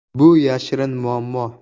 “Bu yashirin muammo.